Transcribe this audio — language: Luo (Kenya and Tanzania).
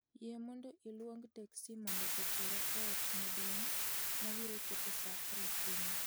Yie mondo iluong teksi mondo otera e ot maduong' ma biro chopo saa apar okinyi